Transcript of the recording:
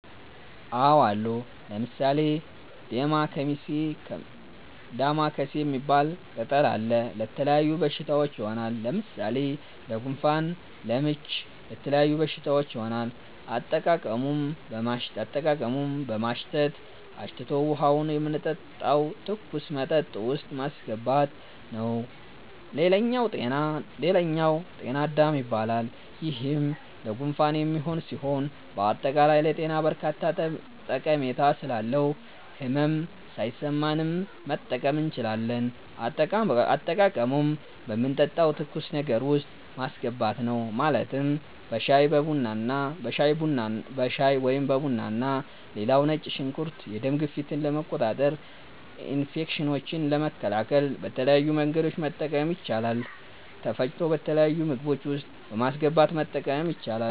አዎ አሉ። ለምሣሌ፦ ደማከሴ ሚባል ቅጠል አለ። ለተለያዩ በሽታዎች ይሆናል። ለምሣሌ ለጉንፋን፣ ለምች ለተለያዩ በሽታዎች ይሆናል። አጠቃቀሙም በማሽተት፣ አሽቶ ውሀውን የምንጠጣው ትኩስ መጠጥ ውስጥ ማሥገባት ነዉ ሌላኛው ጤና -አዳም ይባላል ይሄም ለጉንፋን የሚሆን ሢሆን በአጠቃላይ ለጤና በርካታ ጠሜታ ስላለው ህመም ሣይሠማንም መጠቀም እንችላለን። አጠቃቀሙም በምንጠጣው ትኩስ ነገር ውስጥ ማስገባት ነው ማለትም በሻይ(በቡና ) ሌላው ነጭ ሽንኩርት የደም ግፊትን ለመቆጣጠር፣ ኢንፌክሽኖችን ለመከላከል በተለያዩ መንገዶች መጠቀም ይቻላል ተፈጭቶ በተለያዩ ምግቦች ውስጥ በማስገባት መጠቀም ይቻላል።